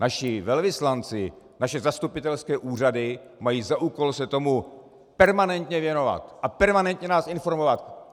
Naši velvyslanci, naše zastupitelské úřady mají za úkol se tomu permanentně věnovat a permanentně nás informovat.